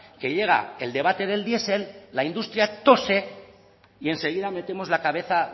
que llega el debate del diesel la industria tose y enseguida metemos la cabeza